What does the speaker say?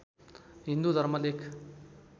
हिन्दू धर्म लेख